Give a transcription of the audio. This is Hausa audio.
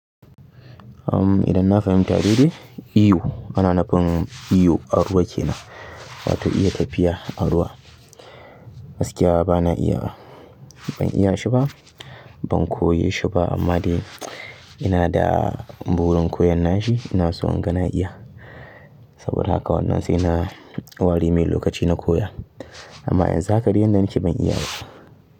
Idan na fahimti daidai, iyo. Ana na nufin iyo a ruwa ke nan, wato iya tafiya a ruwa. Gaskiya bana iyawa, ban iya shi ba, ban koye shi ba amma dai ina da burin koyon na shi. Ina so in ga na iya saboda haka wannan sai na ware mai lokaci na koya. Amma yanzu haka da inda nake ban iya ba.